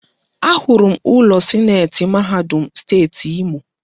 Ahụrụ m ụlọ sineeti mahadum Steeti Imo.